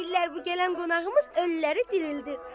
Deyirlər bu gələn qonağımız ölüləri dirildir.